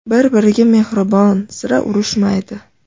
Bir-biriga mehribon, sira urushmaydi.